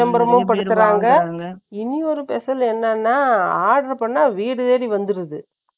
விளம்பரமும் படுத்துறாங்க. இனி ஒரு special என்னன்னா, order பண்ணா, வீடு தேடி வந்துடுது